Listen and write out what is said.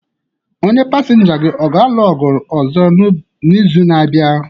Onye pasinja gị ọ ga-alụ ọgụ ọzọ n'izu na-abịa?